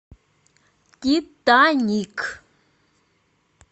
титаник